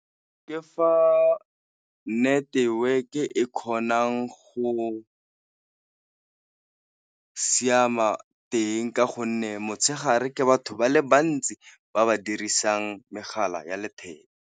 Ke fa network-e kgonang go siama teng ka gonne motshegare ke batho ba le bantsi ba ba dirisang megala ya letheka.